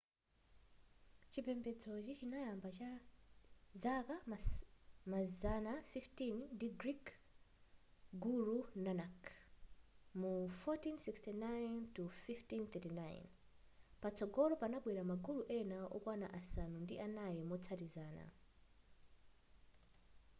chipembedzochi chinayamba zaka mazana 15 ndi guru nanak 1469-1539. patsogolo panabwera ma guru ena okwana asanu ndi anayi motsatizana